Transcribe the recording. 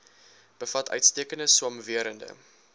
bevat uitstekende swamwerende